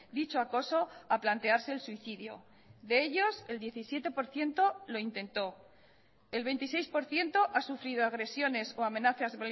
dicho acoso a plantearse el suicidio de ellos el diecisiete por ciento lo intentó el veintiséis por ciento ha sufrido agresiones o amenazas